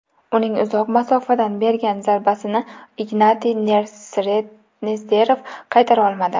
Uning uzoq masofadan bergan zarbasini Ignatiy Nesterov qaytara olmadi.